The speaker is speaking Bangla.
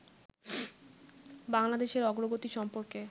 বাংলাদেশের অগ্রগতি সম্পর্কে